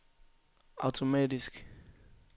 automatisk